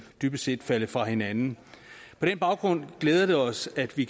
dybest set er faldet fra hinanden på den baggrund glæder det os at vi